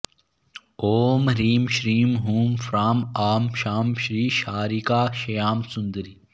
ॐ ह्रीं श्रीं हूं फ्रां आं शां श्रीशारिका श्यामसुन्दरी